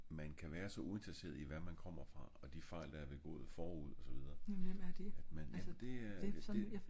man kan være så uinteresseret i hvad man kommer fra og de fejl der er begået forud og så videre